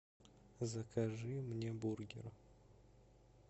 закажи мне бургер